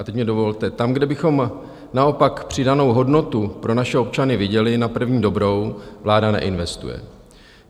A teď mi dovolte, tam, kde bychom naopak přidanou hodnotu pro naše občany viděli na první dobrou, vláda neinvestuje.